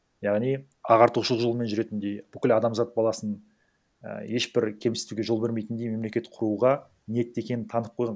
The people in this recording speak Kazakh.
яғни ағартушы жолымен жүретіндей бүкіл адамзат баласын і ешбір кемсітуге жол бермейтіндей мемлекет құруға ниетті екенін танытып қойған